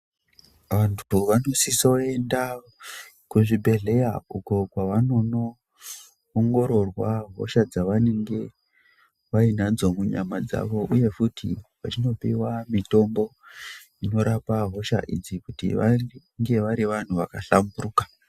Vantu vanosisoenda kuzvibhedhlera uko kwavanono ongororwa hosha dzavanenge vainadzo munyama dzavo uye futi vachinopiwa mitombo inorapa hosha idzi kuti vange vari vantu vaka hlamburuka.